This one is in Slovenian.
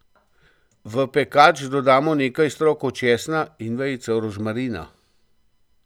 V pekač dodamo nekaj strokov česna in vejico rožmarina.